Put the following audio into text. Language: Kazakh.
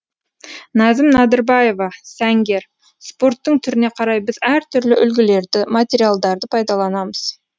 назым нәдірбаева сәнгер спорттың түріне қарай біз әртүрлі үлгілерді материалдарды пайдаланамыз